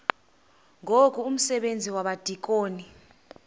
ngoku umsebenzi wabadikoni